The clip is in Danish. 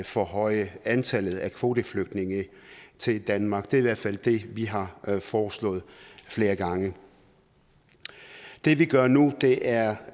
forhøje antallet af kvoteflygtninge til danmark det er i hvert fald det vi har foreslået flere gange det vi gør nu er